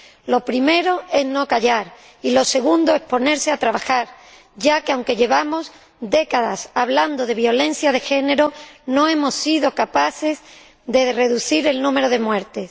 Lo primero es no callar y lo segundo es ponerse a trabajar, ya que, aunque llevamos décadas hablando de violencia de género, no hemos sido capaces de reducir el número de muertes.